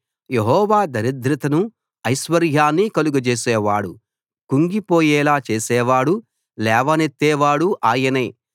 యెహోవా దరిద్రతను ఐశ్వర్యాన్ని కలుగ జేసేవాడు కుంగిపోయేలా చేసేవాడూ లేవనెత్తేవాడూ ఆయనే